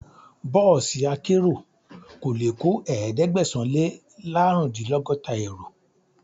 Bọ́ọ̀sì akérò kò lè kó ẹ̀ẹ́dẹ́gbẹ̀sán - lé -lárùndínlọ́gọ́ta èrò.